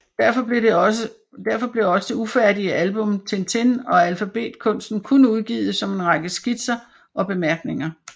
Derfor blev også det ufærdige album Tintin og alfabetkunsten kun udgivet som en række skitser og bemærkninger